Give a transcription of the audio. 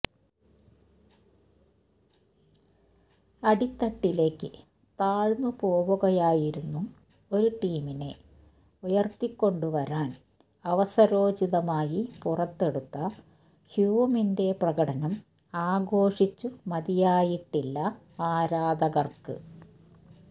അടിത്തട്ടിലേക്ക് താഴ്ന്നുപോവുകയായിരുന്നു ഒരു ടീമിനെ ഉയര്ത്തിക്കൊണ്ടുവരാന് അവസരോചിതമായി പുറത്തെടുത്ത ഹ്യൂമിന്റെ പ്രകടനം ആഘോഷിച്ചു മതിയായിട്ടില്ല ആരാധകര്ക്ക്